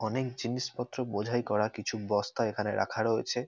অনেক জিনিসপত্র বোঝাই করা কিছু বস্তা এখানে রাখা রয়েছে।